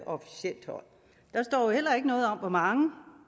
officielt hold der står heller ikke noget om hvor mange